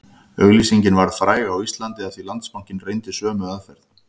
Auglýsingin varð fræg á Íslandi af því Landsbankinn reyndi sömu aðferð